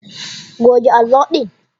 Goge allo din!